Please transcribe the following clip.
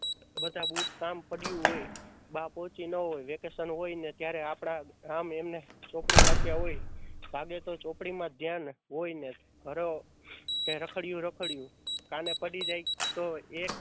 બધા બુટ કામ પડ્યું હોય. બા પોહચી ન હોય વેકેશન હોય ને ત્યારે આપણાં રામ એમને ચોપડી વાંચ્યા હોય લાગે તો ચોપડી માં જ ધ્યાન હોય ને રખડ્યું રખડયું કાને પડી જાય તો એ